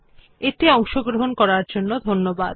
এই টিউটোরিয়াল এ অংশগ্রহন করার জন্য ধন্যবাদ